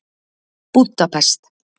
Búdapest